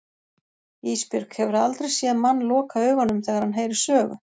Ísbjörg, hefurðu aldrei séð mann loka augunum þegar hann heyrir sögu?